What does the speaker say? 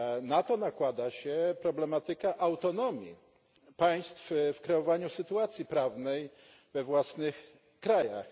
Na to nakłada się problematyka autonomii państw w kreowaniu sytuacji prawnej we własnych krajach.